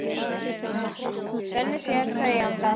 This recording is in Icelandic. Svenni sér þau í anda.